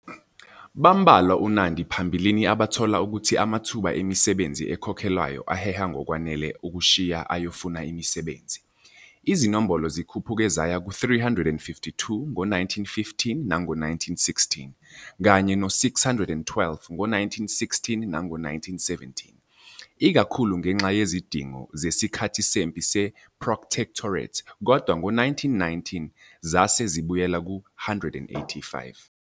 Bambalwa uNandi phambilini abathola ukuthi amathuba emisebenzi ekhokhelwayo aheha ngokwanele ukushiya ayofuna imisebenzi. Izinombolo zikhuphuke zaya ku-352 ngo-1915 na ngo 1916 kanye no-612 ngo-1916 na ngo 1917, ikakhulu ngenxa yezidingo zesikhathi sempi seProtectorate kodwa ngo-1919 zase zibuyele ku-185.